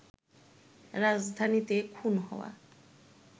রাজধানীতে খুন হওয়া